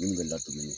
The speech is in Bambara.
Minnu bɛ ladon